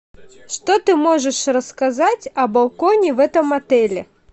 что ты можешь рассказать о балконе в этом отеле